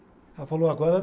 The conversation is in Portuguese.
Ela falou, agora